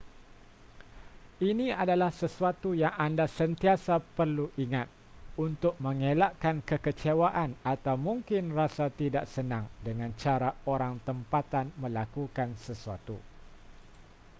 ini adalah sesuatu yang anda sentiasa perlu ingat untuk mengelakkan kekecewaan atau mungkin rasa tidak senang dengan cara orang tempatan melakukan sesuatu